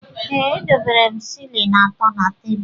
Ee, edobere m shịlịn atọ na tebul.